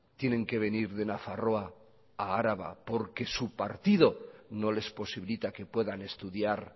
tienen que venir de nafarroa a araba porque su partido no les posibilita que puedan estudiar